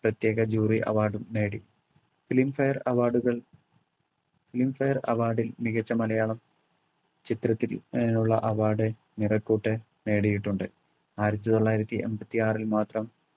പ്രത്യേക jury award ഉം നേടി. filmfare award കൾ filmfare award ൽ മികച്ച മലയാളം ചിത്രത്തി ഏർ ഉള്ള award നിറക്കൂട്ട് നേടിയിട്ടുണ്ട് ആയിരത്തിത്തൊള്ളായിരത്തി എൺപത്തിആറിൽ മാത്രം